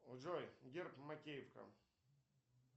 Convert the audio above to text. джой герб макеевка